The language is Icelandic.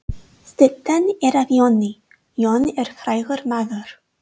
Styttan er af Jóni. Jón er frægur maður.